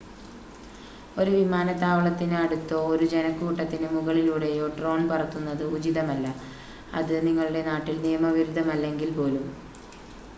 ഒരു വിമാനത്താവളത്തിന് അടുത്തോ ഒരു ജനക്കൂട്ടത്തിന് മുകളിലൂടെയോ ഡ്രോൺ പറത്തുന്നത് ഉചിതമല്ല അത് നിങ്ങളുടെ നാട്ടിൽ നിയമവിരുദ്ധമല്ലെങ്കിൽ പോലും